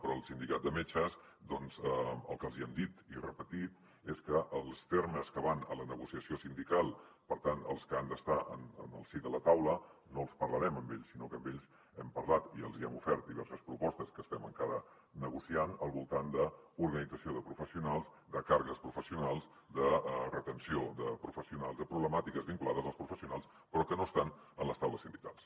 però al sindicat de metges doncs el que els hi hem dit i repetit és que els termes que van a la negociació sindical per tant els que han d’estar en el si de la taula no els parlarem amb ells sinó que amb ells hem parlat i els hi hem ofert diverses propostes que estem encara negociant al voltant d’organització de professionals de càrregues professionals de retenció de professionals de problemàtiques vinculades als professionals però que no estan en les taules sindicals